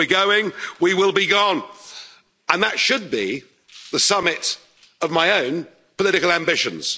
We're going, we will be gone and that should be the summit of my own political ambitions.